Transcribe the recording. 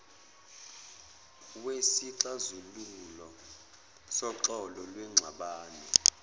wesixazululo soxolo lwengxabano